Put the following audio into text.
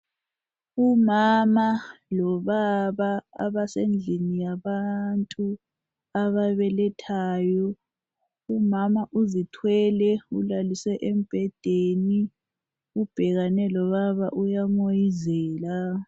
Umama lobaba, abasendlini yabantu ababelethayo. Umama uzithwele ulaliswe embhedeni, ubhekane lobaba uyamoyizela.